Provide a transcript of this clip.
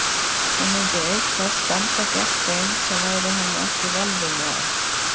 Hún myndi auk þess standa gegn þeim sem væru henni ekki velviljaðir.